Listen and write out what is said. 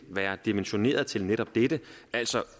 være dimensioneret til netop dette altså